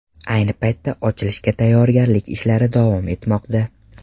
Ayni paytda ochilishga tayyorgarlik ishlari davom etmoqda.